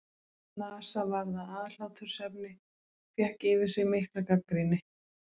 NASA varð að aðhlátursefni og fékk yfir sig mikla gagnrýni.